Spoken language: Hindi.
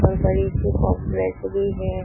और बड़ी सी भी है।